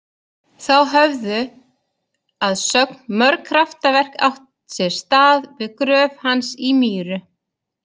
Þá höfðu að sögn mörg kraftaverk átt sér stað við gröf hans í Mýru.